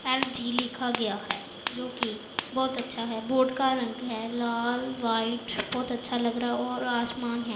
LG लिखा गया है जो कि बहुत अच्छा है बोर्ड का रंग है लाल व्हाइट बहुत अच्छा लग रहा है और आसमान है।